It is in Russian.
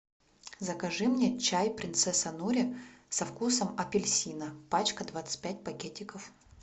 закажи мне чай принцесса нури со вкусом апельсина пачка двадцать пять пакетиков